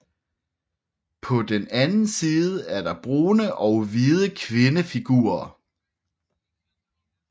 På den anden side er der brune og hvide kvindefigurer